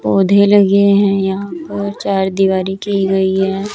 पौधे लगे हैं यहां पर चार दिवारी की गई है।